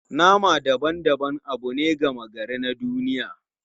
Nama daban-daban abu ne gama gari na duniya.